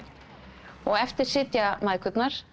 og eftir sitja mæðgurnar